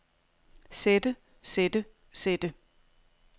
sætte sætte sætte